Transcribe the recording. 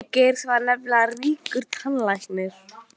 Pabbi Geirs var nefnilega ríkur tannlæknir.